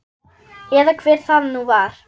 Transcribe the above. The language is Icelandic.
Eða hver það nú var.